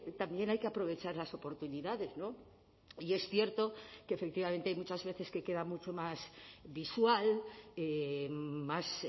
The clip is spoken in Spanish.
también hay que aprovechar las oportunidades y es cierto que efectivamente hay muchas veces que queda mucho más visual más